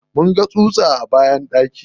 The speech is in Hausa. Mun ga tsutsa a banɗaki.